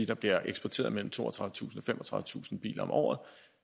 der bliver eksporteret mellem toogtredivetusind og femogtredivetusind biler om året